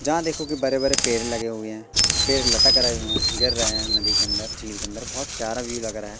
जहां देखो की बड़े-बड़े पेड़ लगे हुए हैं पेड़ लटक रहे हैं गीर रहे हैं नदी के अंदर झील के अंदर बहोत प्यार भी लग रहा --